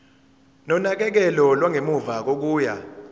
nonakekelo lwangemuva kokuya